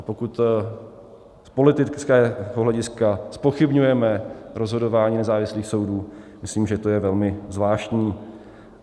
A pokud z politického hlediska zpochybňujeme rozhodování nezávislých soudů, myslím, že to je velmi zvláštní.